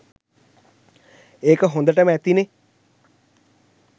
ඒක හොඳටම ඇතිනේ